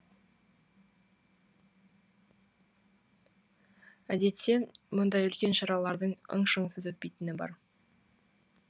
әдетте мұндай үлкен шаралардың ың шыңсыз өтпейтіні бар